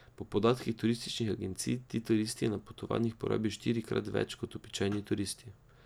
Po podatkih turističnih agencij ti turisti na potovanjih porabijo štirikrat več kot običajni turisti.